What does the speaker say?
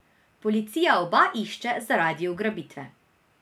Policija oba išče zaradi ugrabitve.